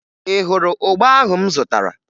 Ị hụrụ ụgba ahụ m zụtara?